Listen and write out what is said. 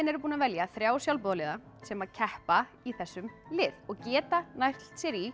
eru búin að velja þrjá sjálfboðaliða sem keppa í þessum lið og geta nælt sér í